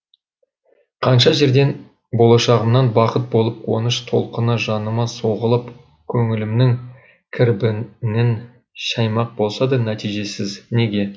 қанша жерден болашағымнан бақыт болып қуаныш толқыны жаныма соғылып көңілімнің кірбіңін шаймақ болса да нәтижесіз неге